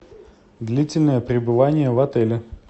длительное пребывание в отеле